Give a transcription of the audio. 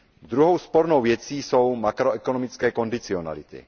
Druhou spornou věcí jsou makroekonomické kondicionality.